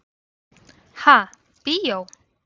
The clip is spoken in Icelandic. Ha, bíó?